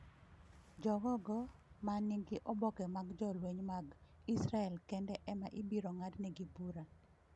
Jogo ogo ma nigi oboke mag jolweny mag Israel kende ema ibiro ng’adnegi bura.